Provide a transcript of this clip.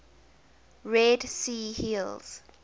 red sea hills